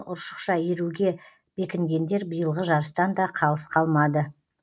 ұршықша иіруге бекінгендер биылғы жарыстан да қалыс қалмады